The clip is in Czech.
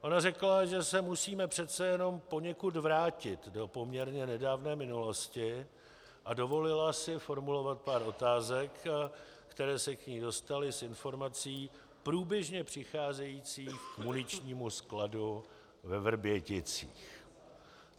Ona řekla, že se musíme přece jenom poněkud vrátit do poměrně nedávné minulosti, a dovolila si formulovat pár otázek, které se k ní dostaly z informací průběžně přicházejících k muničnímu skladu ve Vrběticích.